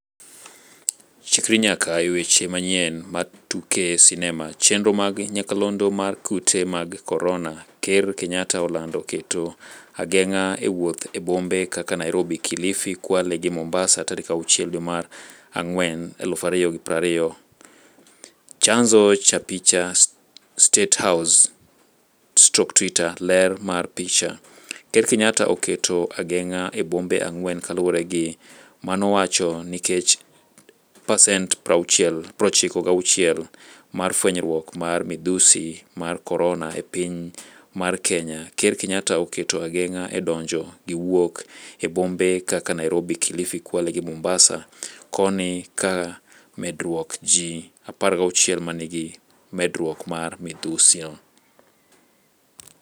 Chikri nyaka e weche manyien mar tuke sinema chenro mag nyakalondo mar Kute mag korona: Ker Kenyatta olando keto ageng'a e wotho e bombe kaka Nairobi, kilifi, Kwale gi Mombasa tarik 6 dwe mar ang'wen 2020, chanzo cha picha, State house/twitter, ler mar picha. Ker Kenyatta oketo ang'eng'a e bombe 4 kaluore gi manowacho nikech 96% mar fwenyruok mar midhusi mar korona e piny mar Kenya. Ker Kenyatta oketo ageng'a e donjo gi wuok e bombe kaka Nairobi, kilifi, Kwale gi Mombasa. koni ka medruok ji 16 manigi medruok mar midhusino.